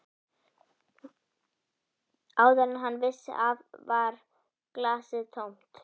Áður en hann vissi af var glasið tómt.